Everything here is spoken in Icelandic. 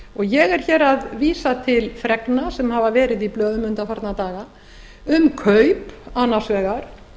ég er hér að vísa til fregna sem hafa verið í blöðum undanfarna daga um kaup annars vegar